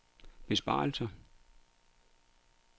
besparelser